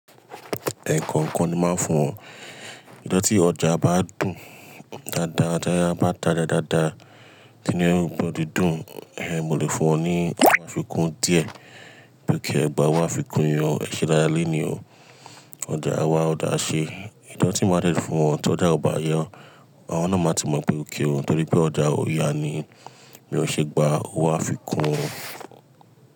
Ẹ̀ẹ̀kọ̀kan ni máa ń fún wọn. Ni ọjọ́ tí ọjà bá dùn dáadáa, tí a bá ta dáadáa, tí inú everybody dùn, ẹ́, mo lè fún wọn ní owó àfikún díẹ̀, pé kí ẹ gba owó àfikún yìí o, ẹ ṣe dáadáa lẹ́ẹ̀ni o. Ọjà wa ọ̀dà ṣe, ìjọ̀tí máa dẹ̀ ti fún wọn tí ọjà ò bá yọ, àwọn náà máa ti mọ̀ pé óké òun torí pé ọjà ò yá ni, bí wọn ṣe gba owó àfikún.